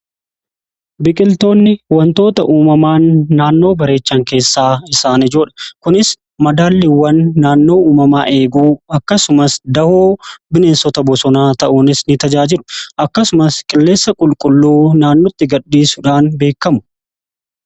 biqiltoonni wantoota uumamaan naannoo bareechan keessaa isaanijoudha kunis madaalliiwwan naannoo uumamaa eeguu akkasumas dahoo bineensota bosonaa ta'uunis ni tajaajiru akkasumas qilleessa qulqulluu naannutti gadhiisuudhaan beekamu